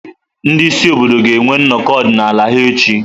Ndị isi obodo ga-enwe nnọkọ ọdịnala ha echi.